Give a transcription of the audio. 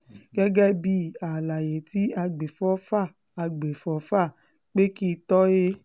gẹ́gẹ́ bíi àlàyé tí àgbéfọ́fà àgbéfọ́fà